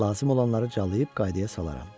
Lazım olanları cəlayıb qaydaya salaram.